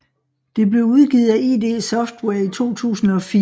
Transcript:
Det blev udgivet af id Software i 2004